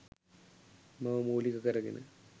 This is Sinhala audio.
මව මූලික කර ගෙන